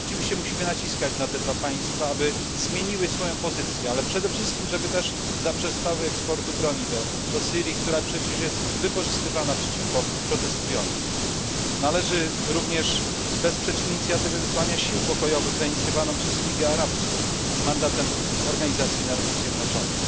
Rzeczywiście musimy tutaj naciskać na te dwa państwa, aby zmieniły swoje stanowisko, ale przede wszystkim aby zaprzestały eksportu broni do Syrii, która jest przecież wykorzystywana przeciwko protestującym. Należy również wesprzeć inicjatywę wysyłania sił pokojowych zainicjowaną przez Ligę Arabską z mandatem Organizacji Narodów Zjednoczonych.